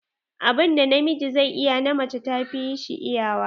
Abun da na miji zai iya, na mace ta fi shi iyawa.